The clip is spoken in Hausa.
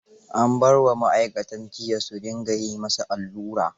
An bar wa ma'aikatan jiyya su dinga yi ma sa allura.